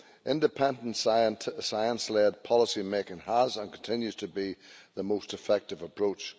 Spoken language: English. Independent science led policy making has and continues to be the most effective approach.